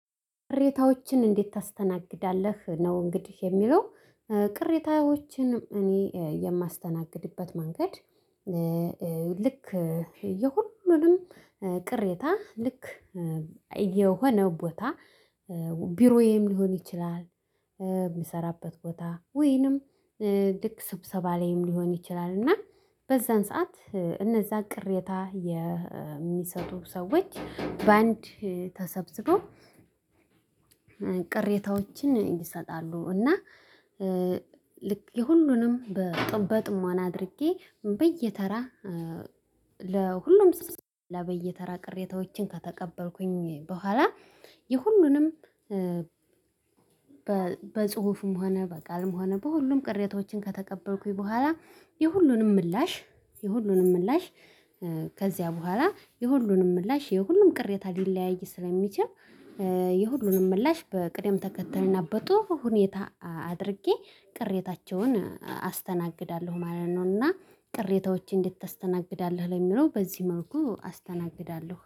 ቅሬታዎችን እንዴት ታስተናግዳለህ ነው እንግዲህ የሚለው ቅሬታዎችን እኔ የማስተናግድበት መንገድ ልክ የሁሉንም ቅሬታ ልክ የሆነው ቦታ ቢሮዬም ሊሆን ይችላል የምሰራበት ቦታ ወይንም ልክ ስብሰባ ላይም ሊሆን ይችላል እና በዛን ሰዓት እነዛን ቅሬታ የሚሰጡ ሰዎች በአንድ ተሰብስበው ቅሬታዎችን ይሰጣሉ እና ልክ የሁሉንም በጥሞ በጥሞና አድርጌ በየተራ ለሁሉም ስስ ለበየተራ ቅሬታዎችን ከተቀበልኩኝ በኋላ የሁሉንም በጽሁፍም ሆነ በቃልም ሆነ በሁሉም ቅሬታዎችን ከተቀበልኩኝ በኋላ የሁሉንም ምላሽ የሁሉንም ምላሽ ከዚያ በኋላ የሁሉንም ምላሽ የሁሉም ቅሬታ ሊለያይ ስለሚችል የሁሉንም ምላሽ በቅደም ተከተልና በጡሩ ሁኔታ አድርጌ ቅሬታቸውን አስተናግዳለሁ ማለት ነው እና ቅሬታዎችን እንዴት ታስተናግዳለህ ለሚለው በዚህ መልኩ አስተናግዳለሁ።